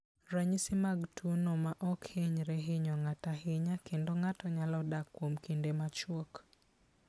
Ranyisi mag tuwono ma ok hinyre hinyo ng'ato ahinya, kendo ng'ato nyalo dak kuom kinde machuok.